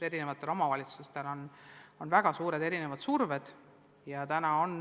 Erinevatel omavalitsustel on väga erinevad ootused.